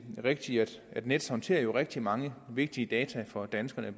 rigtigt at nets jo håndterer rigtig mange vigtige data for danskerne